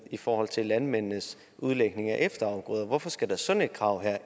i forhold til landmændenes udlægning af efterafgrøder hvorfor skal der sådan et krav